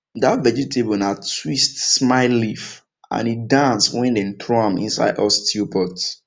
that vegetable na twist smile leaf and e dance when dem throw am inside hot stew pot